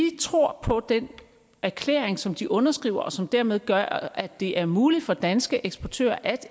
tror på den erklæring som de underskriver og som dermed gør at det er muligt for danske eksportører at